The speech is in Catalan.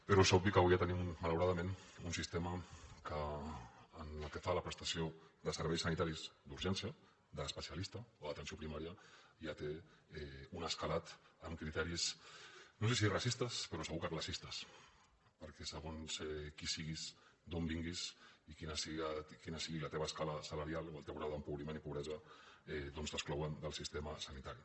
però és obvi que avui ja tenim malauradament un sistema que pel que fa a la prestació de serveis sanitaris d’urgència d’especialista o d’atenció primària ja té un escalat amb criteris no sé si racistes però segur que classistes perquè segons qui siguis d’on vinguis i quina sigui la teva escala salarial o el teu grau d’empobriment i pobresa t’exclouen del sistema sanitari